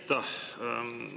Aitäh!